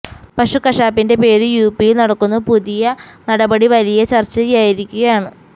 പശു കശാപ്പിന്റെ പേരിൽ യുപിയിൽ നടക്കുന്നു പുതിയ നടപടി വലിയ ചർച്ചയായിരിക്കുകയാണ്